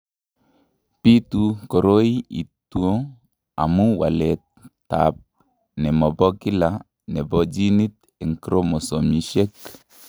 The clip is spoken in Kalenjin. Bitu koroi ito amu waletab ne mo bo kila nebo ginit eng' chromosomishek.